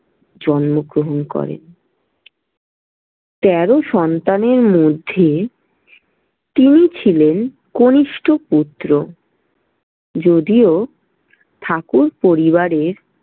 জন্মগ্রহণ করেন। তেরো সন্তানের মধ্যে তিনি ছিলেন কনিষ্ঠ পুত্র। যদিও ঠাকুর পরিবারে।